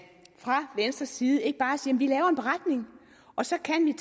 fra venstres side ikke bare siger vi laver en beretning og så kan vi